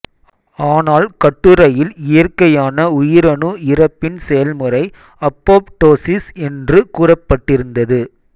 ஆனால் கட்டுரையில் இயற்கையான உயிரணு இறப்பின் செயல்முறை அப்போப்டொசிஸ் என்று கூறப்பட்டிருந்தது